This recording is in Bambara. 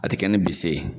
A tɛ kɛ ni bse